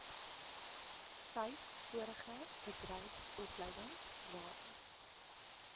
vyf vorige bedryfsopleidingsrade